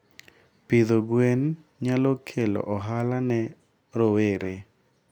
Pidho gwen nyalo kelo ohala ne rowere.